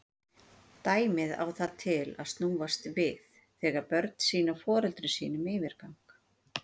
Dæmið á það til að snúast við þegar börn sýna foreldrum sínum yfirgang.